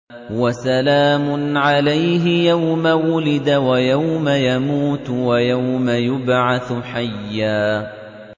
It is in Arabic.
وَسَلَامٌ عَلَيْهِ يَوْمَ وُلِدَ وَيَوْمَ يَمُوتُ وَيَوْمَ يُبْعَثُ حَيًّا